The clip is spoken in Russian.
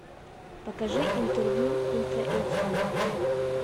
покажи интервью ультра эйч ди